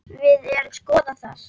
Við erum að skoða það.